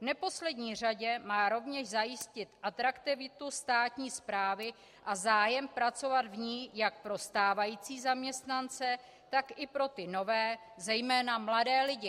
V neposlední řadě má rovněž zajistit atraktivitu státní správy a zájem pracovat v ní jak pro stávající zaměstnance, tak i pro ty nové, zejména mladé lidi.